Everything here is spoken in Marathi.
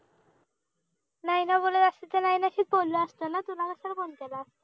नयना बोलाला असती तर नयनाशीच बोललो असतो ना तुला कशाला phone केला असता